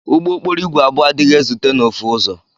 Ụgbọ okporo igwe abụọ adighi ezute na ofu ụzọ.